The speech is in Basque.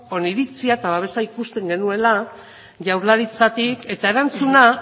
oniritzia eta babesa ikusten genuela jaurlaritzatik eta erantzuna